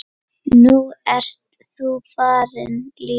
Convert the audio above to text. Nú ert þú farin líka.